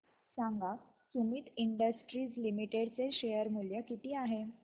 सांगा Sumeet industries limited चे share मूल्य किती आहे